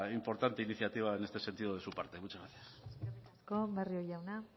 importante iniciativa en este sentido de su parte muchas gracias eskerrik asko barrio jauna